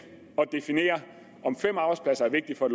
definere om fem arbejdspladser er vigtigt for